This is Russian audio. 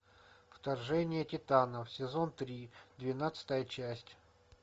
вторжение титанов сезон три двенадцатая часть